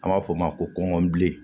An b'a f'o ma ko kɔnbilen